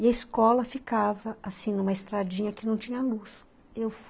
E a escola ficava, assim, numa estradinha que não tinha luz, eu